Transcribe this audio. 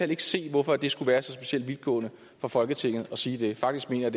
ikke se hvorfor det skulle være så specielt vidtgående for folketinget at sige det faktisk mener